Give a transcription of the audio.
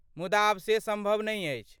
मुदा आब से सम्भव नहि अछि।